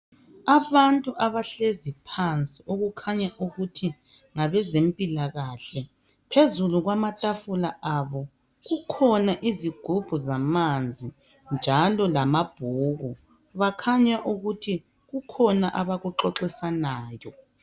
Abantu abahlezi phansi okukhanya ukuthi ngabezempilakahle phezulu kwamatafula abo kukhona izigubhu zamanzi njalo lamabhuku bakhanya kuthi kukhona abakuxoxisanayo